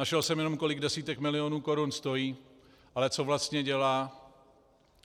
Našel jsem jenom, kolik desítek milionů korun stojí, ale co vlastně dělá,